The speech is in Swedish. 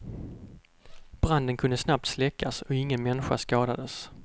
Branden kunde snabbt släckas och ingen människa skadades.